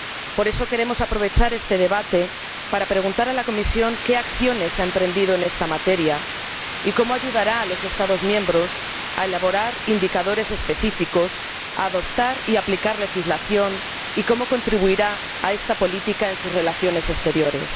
Por eso queremos aprovechar este debate para preguntar a la Comisión qué acciones ha emprendido en esta materia y cómo ayudará a los Estados miembros a elaborar indicadores específicos, a adoptar y aplicar legislación, y cómo contribuirá a esta política en sus relaciones exteriores.